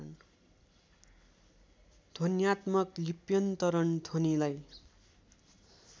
ध्वन्यात्मक लिप्यन्तरण ध्वनिलाई